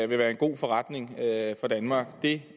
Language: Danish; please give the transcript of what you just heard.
være en god forretning for danmark det